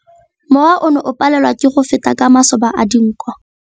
Mowa o ne o palelwa ke go feta ka masoba a dinko.